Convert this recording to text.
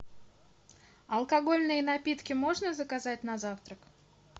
алкогольные напитки можно заказать на завтрак